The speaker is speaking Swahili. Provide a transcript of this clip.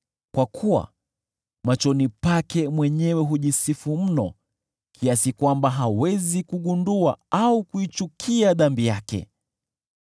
Kwa kuwa machoni pake mwenyewe hujisifu mno hata hawezi kugundua au kuichukia dhambi yake.